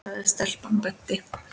sagði stelpan og benti.